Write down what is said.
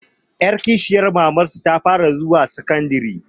Ƴar kishiyar mamansu ta fara zuwa sakandare